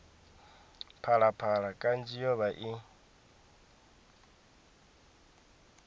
phalaphala kanzhi yo vha i